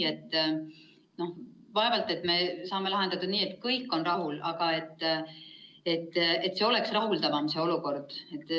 Vaevalt me saame seda lahendada nii, et kõik on rahul, aga see olukord võiks olla rahuldavam.